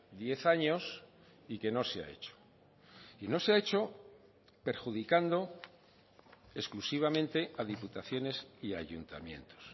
diez años y que no se ha hecho y no se ha hecho perjudicando exclusivamente a diputaciones y a ayuntamientos